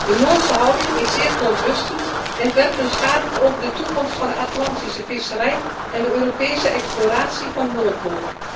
De Noorse houding is zeer verontrustend en werpt een schaduw over de toekomst van de Atlantische visserij en de Europese exploratie van de Noordpool.